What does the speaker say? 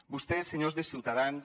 vostès senyors de ciutadans